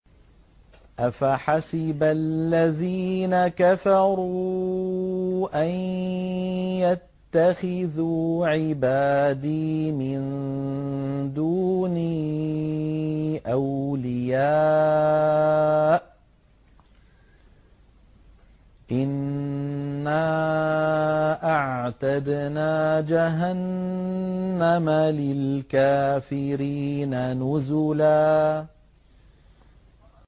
أَفَحَسِبَ الَّذِينَ كَفَرُوا أَن يَتَّخِذُوا عِبَادِي مِن دُونِي أَوْلِيَاءَ ۚ إِنَّا أَعْتَدْنَا جَهَنَّمَ لِلْكَافِرِينَ نُزُلًا